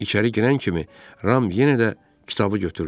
İçəri girən kimi Ram yenə də kitabı götürdü.